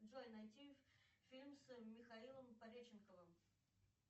джой найти фильм с михаилом пореченковым